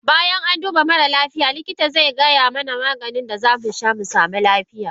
Bayan an duba mare lafiya likita zaigaya mana Maganin da zamu sha musamu lafiya.